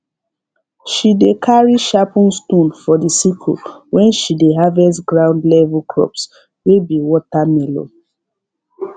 she dey carry sharpen stone for the sickle when she dey harvest ground level crops wey be watermelon